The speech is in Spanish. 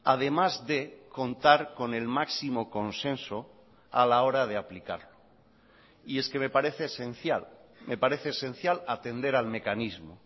además de contar con el máximo consenso a la hora de aplicarlo y es que me parece esencial me parece esencial atender al mecanismo